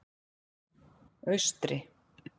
Austri